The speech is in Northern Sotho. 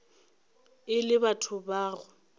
e le batho ba go